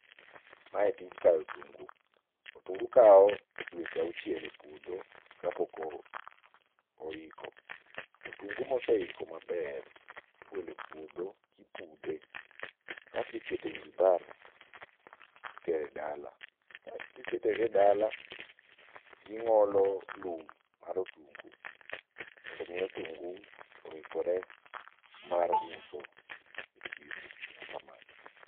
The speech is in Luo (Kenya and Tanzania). Mae tij kayo otungu. Otungu kao dweche auchiel e puodho kapok oiko . Otungo moseiko maber igole puodho kipudhe kasto ikete wheelbarrow titere dala kisetere dala ing'olo lum mar otungu mondo mii otungu oikre mar uso e chiro, erokamano.